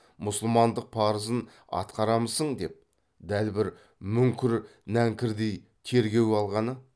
мұсылмандық парызын атқарамысың деп дәл бір мүңкір нәңкірдей тергеуге алғаны